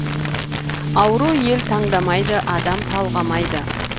ауру ел таңдамайды адам талғамайды